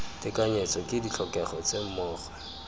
tekanyetso ke ditlhokego tse mmogo